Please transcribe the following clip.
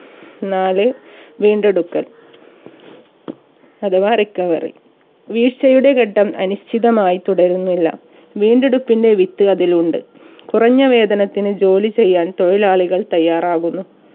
നാല് വീണ്ടെടുക്കൽ അഥവാ recovery വീഴ്ചയുടെ ഘട്ടം അനിശ്ചിതമായി തുടരുന്നില്ല വീണ്ടെടുപ്പിന്റെ വിത്ത് അതിലുണ്ട് കുറഞ്ഞ വേതനത്തിന് ജോലി ചെയ്യാൻ തൊഴിലാളികൾ തയ്യാറാകുന്നു